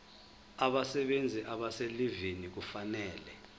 abasebenzi abaselivini kufanele